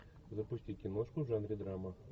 запусти киношку в жанре драма